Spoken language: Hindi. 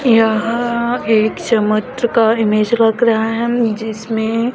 यह एक का इमेज लग रहा है जिसमें--